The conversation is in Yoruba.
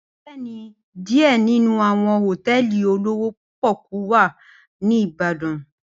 Bẹẹni, diẹ ninu awọn hotẹẹli olowo poku wa ni ibadan.